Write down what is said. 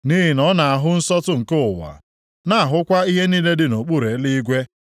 Nʼihi na ọ na-ahụ nsọtụ nke ụwa, na-ahụkwa ihe niile dị nʼokpuru eluigwe.